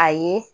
A ye